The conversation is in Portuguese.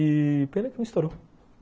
E pena que não estourou.